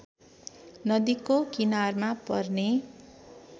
नदीको किनारमा पर्ने